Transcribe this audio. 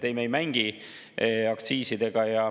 Ei, me ei mängi aktsiisidega.